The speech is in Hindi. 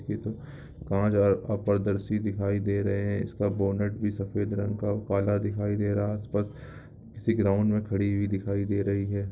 इ तो कांच आर अपारदर्शी दिखाई दे रहे हैं इसका बोनट भी सफेद रंग का काला दिखाई दे रहा है| आसपास किसी ग्राउंड में खड़ी हुई दिखाई दे रही है ।